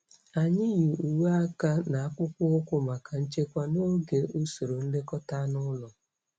Anyị yi uwe aka na akpụkpọ ụkwụ maka nchekwa n'oge usoro nlekọta anụ ụlọ.